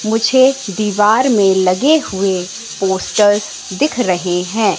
मुझे दीवार में लगे हुए पोस्टर्स दिख रहे हैं।